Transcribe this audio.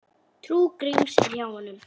Trú Gríms er hjá honum.